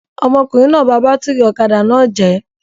Ọmọkùnrin náà bá bátírí ọ̀kadà náà jẹ̀ ẹ́.